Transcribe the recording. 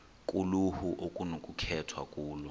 kuluhlu okunokukhethwa kulo